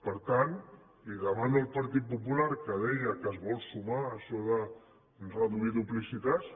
per tant li demano al partit popular que deia que es vol sumar a això de reduir duplicitats